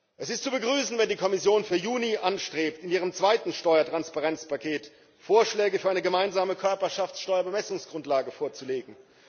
Es ist zu begrüßen, wenn die Kommission für Juni anstrebt, in ihrem zweiten Steuertransparenzpaket Vorschläge für eine gemeinsame Körperschaftssteuer Bemessungsgrundlage vorzulegen.